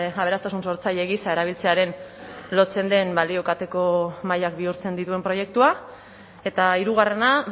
aberastasun sortzaile gisa erabiltzearen lotzen den balio kateko mahaiak bihurtzen dituen proiektua eta hirugarrena